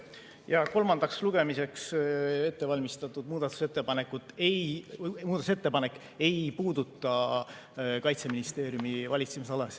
Jah, kolmandaks lugemiseks ettevalmistatud muudatusettepanek ei puuduta Kaitseministeeriumi valitsemisala.